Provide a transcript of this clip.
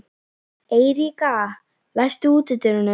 Eiríka, læstu útidyrunum.